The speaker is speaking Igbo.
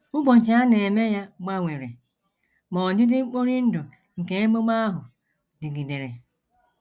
Ụbọchị a na - eme ya gbanwere, ma ọdịdị mkpori ndụ nke ememe ahụ dịgidere.